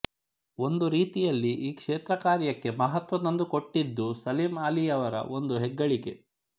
ಒಂದು ರೀತಿಯಲ್ಲಿ ಈ ಕ್ಷೇತ್ರಕಾರ್ಯಕ್ಕೆ ಮಹತ್ವ ತಂದುಕೊಟ್ಟಿದ್ದೂ ಸಲೀಂ ಆಲಿಯವರ ಒಂದು ಹೆಗ್ಗಳಿಕೆ